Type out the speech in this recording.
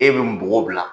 E bɛ n bugɔ